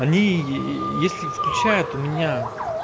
они ээ если включают у меня